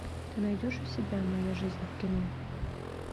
ты найдешь у себя моя жизнь в кино